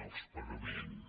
els pagaments